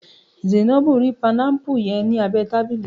Zainabu ri panámpù yẹn ni abẹ tábìlì.